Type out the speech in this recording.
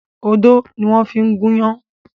Odó ni wọ́n ń fi gúnyán.